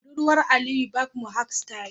budurwar Aliyu Barb Mohawk style.